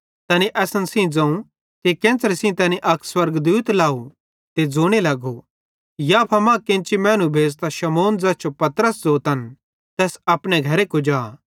तैनी असन सेइं ज़ोवं कि केन्च़रे सेइं तैनी अक स्वर्गदूत घरे लाव ते ज़ोने लगो याफा मां केन्ची मैनू भेज़तां शमौन ज़ैस जो पतरस ज़ोतन तैस अपने घरे कुजा